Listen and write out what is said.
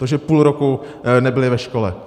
To, že půl roku nebyli ve škole.